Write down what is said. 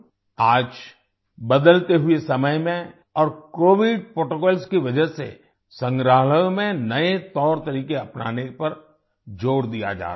आज बदलते हुए समय में और कोविड प्रोटोकॉल्स की वजह से संग्रहालयों में नए तौरतरीके अपनाने पर ज़ोर दिया जा रहा है